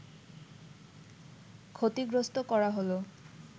ক্ষতিগ্রস্থ করা হলো